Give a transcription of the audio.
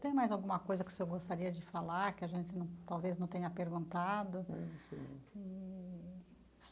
Tem mais alguma coisa que o senhor gostaria de falar, que a gente num talvez não tenha perguntado? Eee.